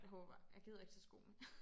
Det håber jeg jeg gider ikke tage sko med